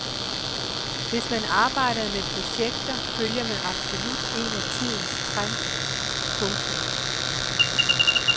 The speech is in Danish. Hvis man arbejder med projekter følger man absolut en af tidens trends. punktum